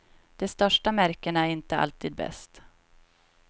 De största märkena är inte alltid bäst.